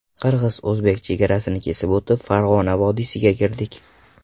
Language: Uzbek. Qirg‘iz-o‘zbek chegarasini kesib o‘tib, Farg‘ona vodiysiga kirdik.